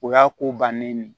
O y'a ko bannen ye